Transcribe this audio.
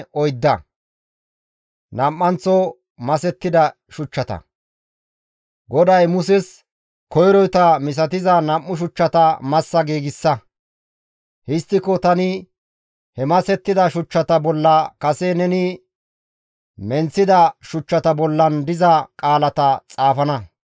GODAY Muses, «Koyroyta misatiza nam7u shuchchata massa giigsa; histtiko tani he masettida shuchchata bolla kase neni menththida shuchchata bollan diza qaalata xaafana.